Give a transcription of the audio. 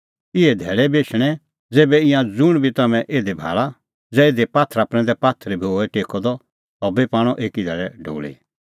इहै धैल़ै बी एछणैं ज़ेभै ईंयां ज़ुंण बी तम्हैं इधी भाल़ा ज़ै इधी पात्थर प्रैंदै पात्थर बी होए टेक्कअ द सह बी पाणअ एकी धैल़ै ढोल़ी